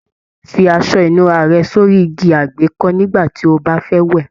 Fí aṣọ ìnura rẹ sórí igi àgbékọ́ nigba ti o ba fẹ wẹ.